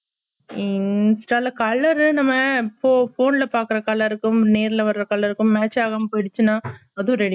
ஊம் சில colour உ நம்ம போ phone ல பார்க்க colour ருக்கும் நேர்ல பாக்க colour ருக்கும் match ஆகாம போய்டுச்சுனா அதும் ready